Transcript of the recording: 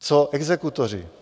Co exekutoři?